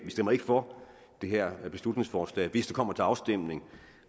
for det her beslutningsforslag hvis det kommer til afstemning